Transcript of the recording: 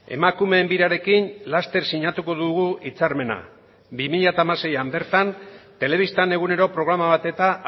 emakumeen birarekin laster sinatuko dugu hitzarmena bi mila hamaseian bertan telebistan egunero programa bat eta